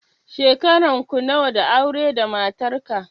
Shekaran ku nawa da aure da matarka?